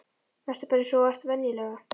Vertu bara eins og þú ert venjulega.